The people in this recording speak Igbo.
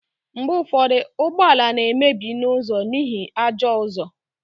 mgbe ụfọdụ ụgbọ ala na-emebi n'ụzọ n'ihi ajọ ụzọ